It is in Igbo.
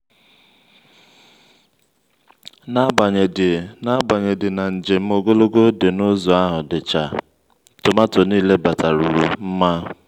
n'agbanyedi na n'agbanyedi na njem ogologo dị n'ụzo ahụ dịcha tomanto niile bataranu mma